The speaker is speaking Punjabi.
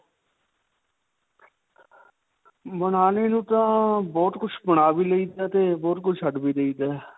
ਬਨਾਨੇ ਨੂੰ ਤਾਂ, ਬਹੁਤ ਕੁਝ ਬਣਾ ਵੀ ਲਈ ਦਾ ਤੇ ਬਹੁਤ ਕੁਝ ਛੱਡ ਵੀ ਦੇਈ ਦਾ ਹੈ.